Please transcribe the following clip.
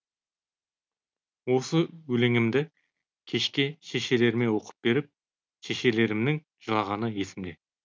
осы өлеңімді кешке шешелеріме оқып беріп шешелерімнің жылағаны есімде